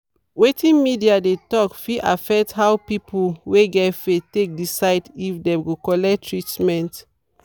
wetin media dey talk fit affect how people wey get faith take decide if dem go collect treatment.